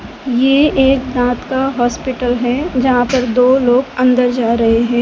ये एक दांत का हॉस्पिटल है जहां पर दो लोग अंदर जा रहे हैं।